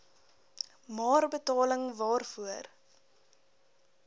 maar waarvoor betaling